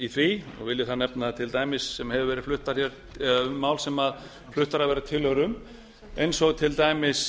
því vil ég þar nefna sem hafa verið fluttar hér eða um máls a fluttar hafa verið tillögur um eins og til dæmis